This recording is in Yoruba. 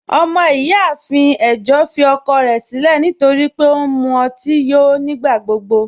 Ọmọ-iyáafin ẹ̀jọ́ fì ọ̀kọ̀ rẹ̀ sílẹ̀ nítorí pẹ̀ ọ̀ n mú òtí yó nígbàgbọ̀gbọ